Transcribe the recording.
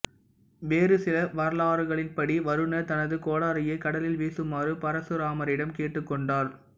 வேறு சில வரலாறுகளின்படி வருணர் தனது கோடரியை கடலில் வீசுமாறு பரசுராமரிடம் கேட்டுக் கொண்டார்